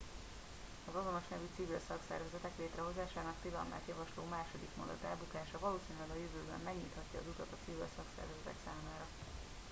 az azonos nemű civil szakszervezetek létrehozásának tilalmát javasló második mondat elbukása valószínűleg a jövőben megnyithatja az utat a civil szakszervezetek számára